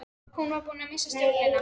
Hann var búinn að missa stjórnina.